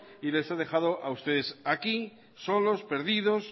y les ha dejado a ustedes aquí solos perdidos